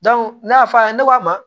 ne y'a fɔ a ye ne ko a ma